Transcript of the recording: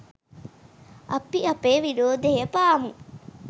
අපි අපේ විරෝධය පාමු.